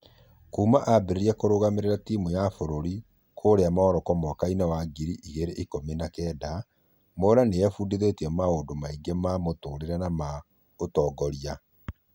Kuuma ambĩrĩria kũrũgamĩrĩra timu ya fũrũri kũria Morocco mwaka wa ngiri igĩrĩ ikũmi na kenda mwaura nĩ efundithetie maũndũ maingĩ ma mũtũrĩre na maũtongoria